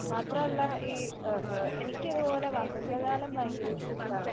മാത്രമല്ല ഈ ആ എനിക്ക് ഇതുപോലെ വസന്തകാലം ഭയങ്കര ഇഷ്ടമാണ്.